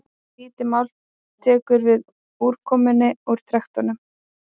lítið mál tekur við úrkomunni úr trektinni